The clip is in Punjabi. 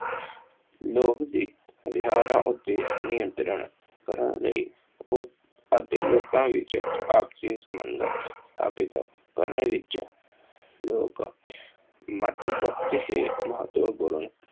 ਲੋਕ ਦੇ ਵਿਹਾਰਾਂ ਉੱਤੇ ਨਿਯੰਤਰਣ- ਕਰਨ ਲਈ ਉਸ ਅਤੇ ਲੋਕਾਂ ਵਿੱਚ ਆਪਸੀ ਸੰਬੰਧ ਸਾਬਿਤ ਕਰਨ ਵਿੱਚ ਲੋਕ ਮੱਤਬਖਸ਼ ਹੀ ਮਹੱਤਵਪੂਰਨ